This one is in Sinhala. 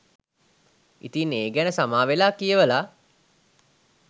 ඉතින් ඒ ගැන සමාවෙලා කියවල